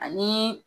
Ani